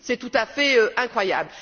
C'est tout à fait incroyable!